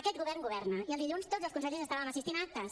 aquest govern governa i dilluns tots els consellers estàvem assistint a actes